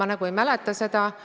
Ma nagu ei mäleta seda.